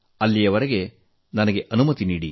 ಅಲ್ಲಿಯವರೆಗೆ ನಿಮ್ಮಿಂದ ತೆರಳುತ್ತಿದ್ದೀನೆ